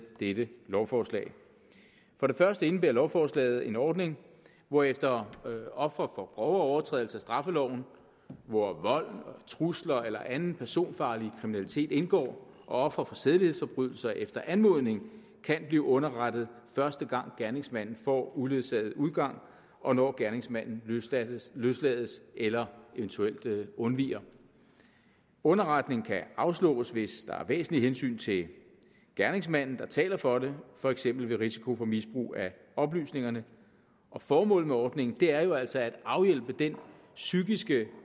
dette lovforslag for det første indebærer lovforslaget en ordning hvorefter ofre for grove overtrædelser af straffeloven hvor vold og trusler eller anden personfarlig kriminalitet indgår og ofre for sædelighedsforbrydelser efter anmodning kan blive underrettet første gang gerningsmanden får uledsaget udgang og når gerningsmanden løslades løslades eller eventuelt undviger underretning kan afslås hvis der er væsentlige hensyn til gerningsmanden der taler for det for eksempel ved risiko for misbrug af oplysningerne og formålet med ordningen er jo altså at afhjælpe den psykiske